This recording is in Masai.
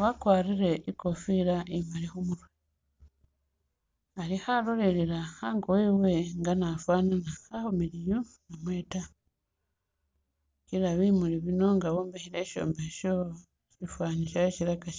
wakwarile ikofila imaali khumurwe khalolelela ango wewe nga afana akhumiliyu namwe taa kila bimuli bino nga wombekhele inzu yowo sifani silaka ...